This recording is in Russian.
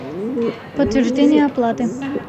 подтверждение оплаты